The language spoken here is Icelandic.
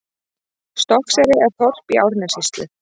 Stokkseyri er þorp í Árnessýslu.